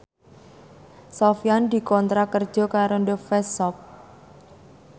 Sofyan dikontrak kerja karo The Face Shop